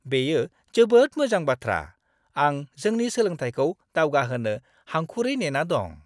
बेयो जोबोद मोजां बाथ्रा! आं जोंनि सोलोंथायखौ दावगाहोनो हांखुरै नेना दं।